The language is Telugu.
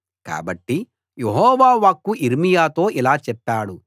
కాబట్టి యెహోవా వాక్కు యిర్మీయాతో ఇలా చెప్పాడు